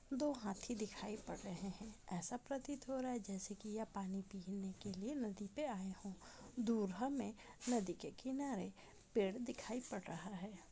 दो हाथी दिखाई पड रहें हैं ऐसा प्रतीत हो रहा हैं जैसे कि यह पानी पीने के लिए नदी पे आए हों दूर हमें नदी के किनारे पेड़ दिखाई पड रहा हैं।